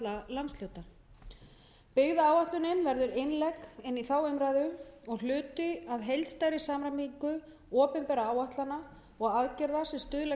tuttugu fyrir alla landshluta byggðaáætlunin verður innlegg inn í þá umræðu og hluti af heildarsamræmingu opinberra áætlana og aðgerða sem stuðlað